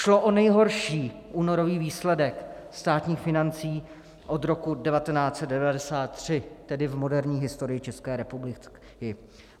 Šlo o nejhorší únorový výsledek státních financí od roku 1993, tedy v moderní historii České republiky.